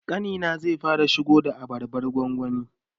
Ƙanina zai fara shigo da abarbar gwangwani